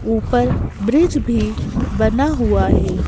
ऊपर ब्रिज भी बना हुआ है।